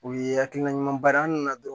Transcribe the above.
U ye hakilina ɲuman ba ye an nana dɔrɔn